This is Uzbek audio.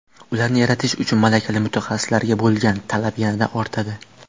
Ularni yaratish uchun malakali mutaxassislarga bo‘lgan talab yanada ortadi.